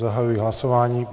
Zahajuji hlasování.